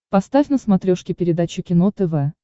поставь на смотрешке передачу кино тв